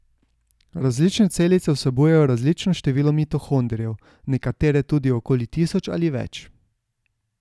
Različne celice vsebujejo različno število mitohondrijev, nekatere tudi okoli tisoč ali več.